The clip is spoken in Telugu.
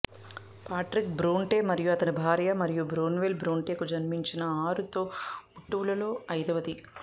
పాట్రిక్ బ్రోంటే మరియు అతని భార్య మరియా బ్రోన్వెల్ బ్రోంటేకు జన్మించిన ఆరు తోబుట్టువులలో ఐదవది